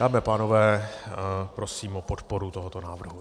Dámy a pánové, prosím o podporu tohoto návrhu.